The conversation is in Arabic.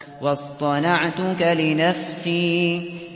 وَاصْطَنَعْتُكَ لِنَفْسِي